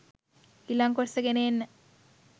ඊලඟ කොටස ගෙන එන්න.